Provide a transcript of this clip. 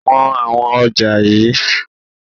Wọn àwọn ọjà yii!